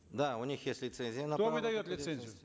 да у них есть лицензия кто выдает лицензию